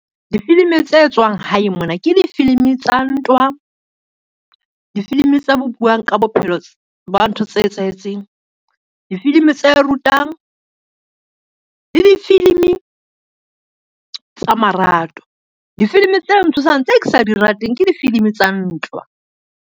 Difilimi tse etswang hae mona, ke difilimi tsa ntwa, difilimi tse buang ka bophelo ba ntho tse etsahetseng, difilimi tse rutang le difilimi tsa marato. Difilimi tse ntshosang tse ke sa di rateng ke difilimi tsa ntwa.